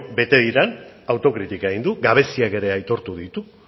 bete diren autokritika egin du gabeziak ere aitortu ditu